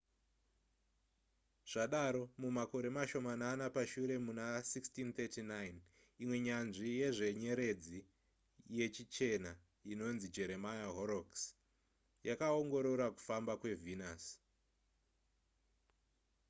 zvadaro mumakore mashomanana pashure muna 1639 imwe nyanzvi yezvenyeredzi yechichena inonzi jeremiah horrocks yakaongorora kufamba kwevenus